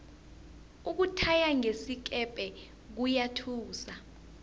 ukuthaya ngesikepe kuyathusa